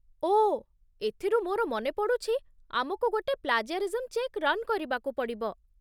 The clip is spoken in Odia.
ଓଃ! ଏଥିରୁ ମୋର ମନେପଡ଼ୁଛି, ଆମକୁ ଗୋଟେ ପ୍ଲାଜିଆରିଜିମ୍ ଚେକ୍ ରନ୍ କରିବାକୁ ପଡ଼ିବ ।